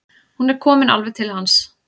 Hún er komin alveg til hans.